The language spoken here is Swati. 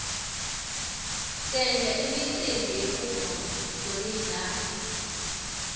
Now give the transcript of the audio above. senta imicimbi yekuvulwa kwemidlalo